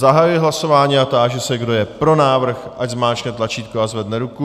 Zahajuji hlasování a táži se, kdo je pro návrh, ať zmáčkne tlačítko a zvedne ruku.